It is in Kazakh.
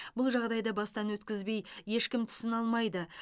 бұл жағдайды бастан өткізбей ешкім түсіне алмайды